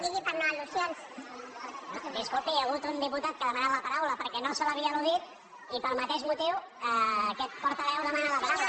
disculpi hi ha hagut un diputat que ha demanat la paraula perquè no se l’havia al·ludit i pel mateix motiu aquest portaveu demana la paraula